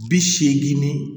Bi seegin ni